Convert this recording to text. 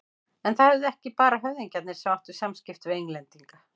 En það voru ekki bara höfðingjarnir sem áttu samskipti við Englendinga.